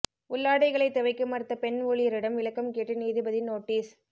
உள்ளாடைகளை துவைக்க மறுத்த பெண் ஊழியரிடம் விளக்கம் கேட்டு நீதிபதி நோட்டீஸ்